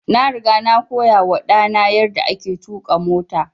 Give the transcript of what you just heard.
Na riga na koya wa ɗa na yarda ake tuƙa mota